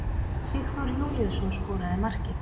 Sigþór Júlíusson skoraði markið.